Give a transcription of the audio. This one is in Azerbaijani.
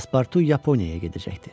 Paspartu Yaponiyaya gedəcəkdi.